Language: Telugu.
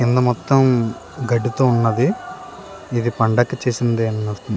కింద మొత్తం గడ్డి తో వున్నది ఏది పండకి చేసిందే --